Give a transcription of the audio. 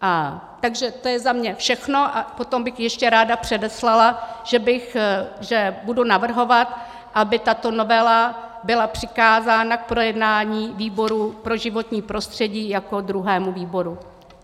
Takže to je za mě všechno a potom bych ještě ráda předeslala, že budu navrhovat, aby tato novela byla přikázána k projednání výboru pro životní prostředí jako druhému výboru.